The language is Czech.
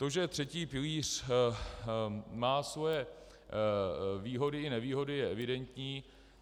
To, že třetí pilíř má svoje výhody i nevýhody, je evidentní.